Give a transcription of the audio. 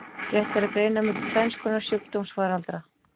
Rétt er að greina milli tvenns konar sjúkdómsfaraldra.